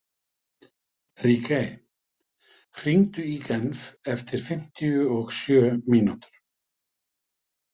Ríkey, hringdu í Gefn eftir fimmtíu og sjö mínútur.